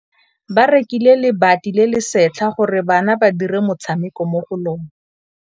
Ba rekile lebati le le setlha gore bana ba dire motshameko mo go lona.